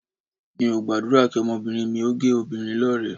Èmi ò gbàdúrà kí ọmọbìnrin mi ní géè obìnrin lọ́rẹ̀ẹ́